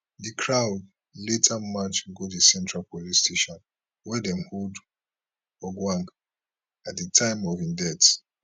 di crowd later march go di central police station wia dem hold ojwang at di time of im death